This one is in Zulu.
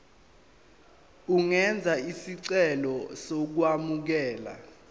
ungenza isicelo sokwamukelwa